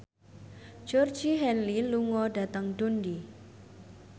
Georgie Henley lunga dhateng Dundee